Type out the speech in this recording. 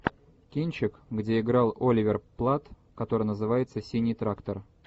кинчик где играл оливер платт который называется синий трактор